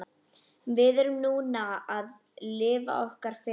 Við erum núna að lifa okkar fegursta.